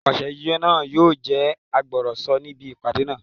Apàṣẹ náà yóò jẹ́ agbọ̀rọ̀sọ níbi ìpàdé náà